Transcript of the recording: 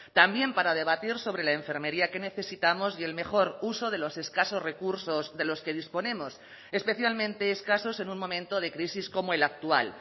también para debatir sobre la enfermería que necesitamos y el mejor uso de los escasos recursos de los que disponemos especialmente escasos en un momento de crisis como el actual